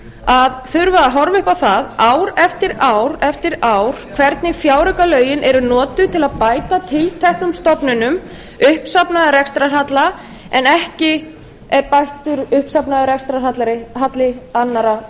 þurfa að horfa upp á það ár eftir ár eftir ár hvernig fjáraukalögin eru notuð til að bæta tilteknum stofnunum uppsafnaðan rekstrarhalla en ekki er bættur uppsafnaður rekstrarhalla annarra